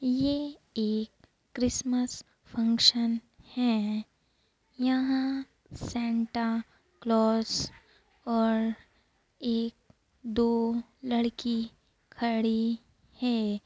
ये एक Christmas function है यहां सांता क्लॉस और एक दो लड़की खड़ी है।